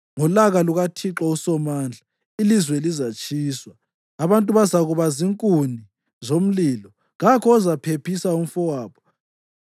Ngolaka lukaThixo uSomandla ilizwe lizatshiswa, abantu bazakuba zinkuni zomlilo, kakho ozaphephisa umfowabo.